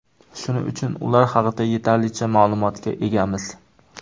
Shuning uchun ular haqida yetarlicha ma’lumotga egamiz.